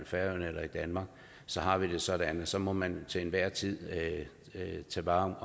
færøerne eller i danmark så har vi det sådan at så må man til enhver tid tage vare